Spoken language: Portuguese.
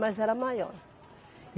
Mas era maior.